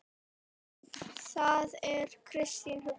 Það er ekki kristin hugsun.